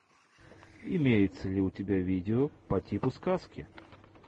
имеется ли у тебя видео по типу сказки